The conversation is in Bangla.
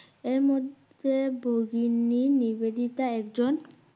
এরমধ্যে ভগিনী নিবেদিতা একজন